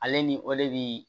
Ale ni ole bi